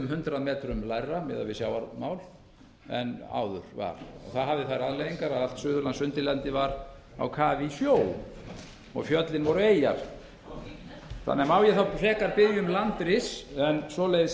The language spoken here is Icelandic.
um hundrað metrum lægra miðað við sjávarmál en áður var það hafði þær afleiðingar að allt suðurlandsundirlendið var á kafi í sjó og fjöllin voru eyjar má ég þá frekar biðja um landris en svoleiðis